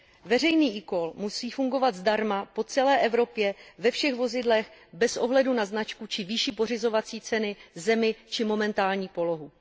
Veřejný eCall musí fungovat zdarma po celé Evropě, ve všech vozidlech bez ohledu na značku či výši pořizovací ceny, zemi či momentální polohu.